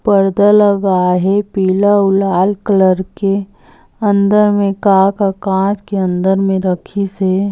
पर्दा लगा है पीला और लाल कलर के अंदर मे का के अंदर में रखी से।